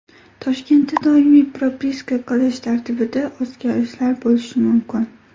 Toshkentda doimiy propiska qilish tartibida o‘zgarishlar bo‘lishi mumkin.